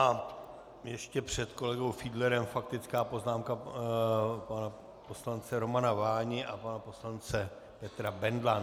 A ještě před kolegou Fiedlerem faktická poznámka pana poslance Romana Váni a pana poslance Petra Bendla.